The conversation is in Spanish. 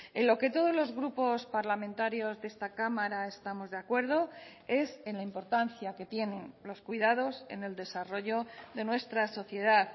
en lo que todos los grupos parlamentarios de esta cámara estamos de acuerdo es en la importancia que tienen los cuidados en el desarrollo de nuestra sociedad